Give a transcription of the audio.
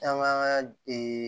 An b'an ka